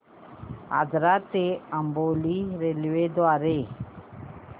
आजरा ते अंबोली रेल्वेगाडी द्वारे